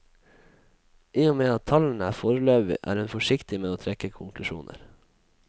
I og med at tallene er foreløpige er hun forsiktig med å trekke konklusjoner.